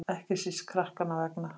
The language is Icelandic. Ekki síst krakkanna vegna.